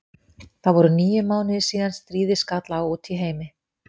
Það voru níu mánuðir síðan stríðið skall á úti í heimi.